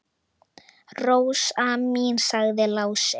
Rósin mín, sagði Lási.